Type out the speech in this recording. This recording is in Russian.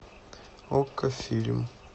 окко фильм